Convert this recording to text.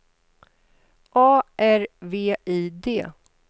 A R V I D